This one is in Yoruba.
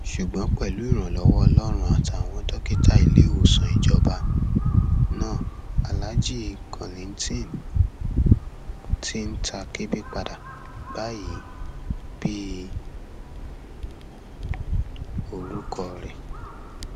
ṣùgbọn pẹlú ìrànlọwọ ọlọrun àtàwọn dókítà iléèwòsàn ìjọba náà alaajì kollington ti ń ta kébé padà báyìí bíi orúkọ rẹ